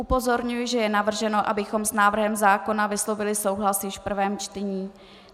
Upozorňuji, že je navrženo, abychom s návrhem zákona vyslovili souhlas již v prvém čtení.